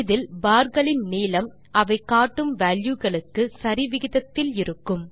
இதில் பார்களின் நீளம் அவை காட்டும் வால்யூ களுக்கு சரி விகிதத்தில் இருக்கும்